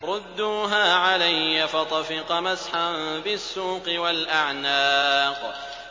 رُدُّوهَا عَلَيَّ ۖ فَطَفِقَ مَسْحًا بِالسُّوقِ وَالْأَعْنَاقِ